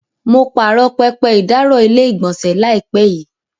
Mo pààrọ̀ pẹpẹ ìdáàrọ̀ ilé-ìgbọ̀nsẹ̀ láìpẹ́ yìí.